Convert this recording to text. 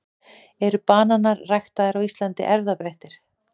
eru bananar ræktaðir á íslandi erfðabreyttir